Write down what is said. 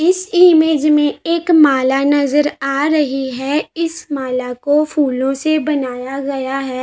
इस इमेज में एक माला नजार आ रही है इस माला को फूलों से बनाया गया है।